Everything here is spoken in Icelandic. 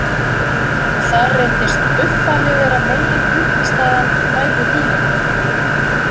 Þar reyndist buffali vera megin uppistaðan í fæðu hýenunnar.